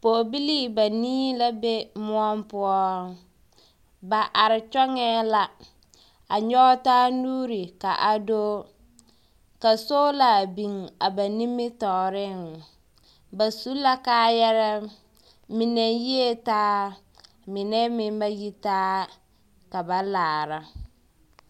Pɔɔbilii banii la be moɔ poɔ. Ba are kyɔŋɛɛ la, a nyɔge taa nuuri ka a do, ka soola biŋ a ba nimitɔɔreŋ, bas u kaayarɛɛ, mine yie taa, mine meŋ ba yi taa, ka ba laara.